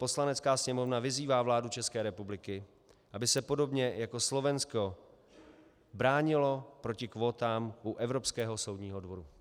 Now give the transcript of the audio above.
Poslanecká sněmovna vyzývá vládu České republiky, aby se podobně jako Slovensko bránila proti kvótám u Evropského soudního dvora.